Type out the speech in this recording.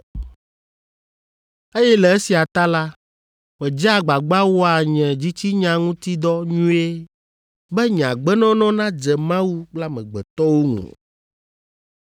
eye le esia ta la, medzea agbagba wɔa nye dzitsinya ŋuti dɔ nyuie be nye agbenɔnɔ nadze Mawu kple amegbetɔwo ŋu.”